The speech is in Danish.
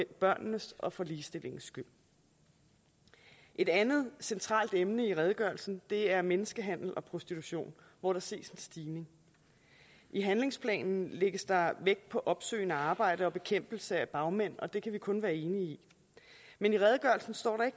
børnenes og for ligestillingens skyld et andet centralt emne i redegørelsen er menneskehandel og prostitution hvor der ses en stigning i handlingsplanen lægges der vægt på opsøgende arbejde og bekæmpelse af bagmænd og det kan vi kun være enige i men i redegørelsen står der